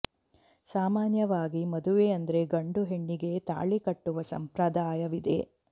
ಸಾಮಾನ್ಯವಾಗಿ ಮದುವೆ ಅಂದ್ರೆ ಗಂಡು ಹೆಣ್ಣಿಗೆ ತಾಳು ಕಟ್ಟುವ ಸಂಪ್ರದಾಯವಿದೆ